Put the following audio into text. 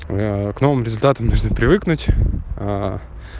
к новым результаты нужно привыкнуть